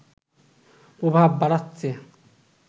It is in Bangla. প্রভাব বাড়াচ্ছে